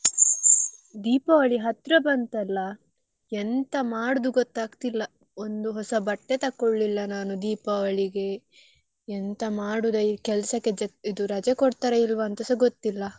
Deepavali ಹತ್ರ ಬಂತಲ್ಲ ಎಂತ ಮಾಡುದು ಗೊತ್ತಾಗ್ತಿಲ್ಲಾ ಒಂದು ಹೊಸ ಬಟ್ಟೆ ತಗೊಳ್ಲಿಲ್ಲ ನಾನು Deepavali ಗೆ ಎಂತ ಮಾಡುದಾ ಈ ಕೆಲ್ಸಕ್ಕೆ ಇದು ರಜೆ ಕೊಡ್ತಾರ ಇಲ್ವಾ ಅಂತಸಾ ಗೊತ್ತಿಲ್ಲ.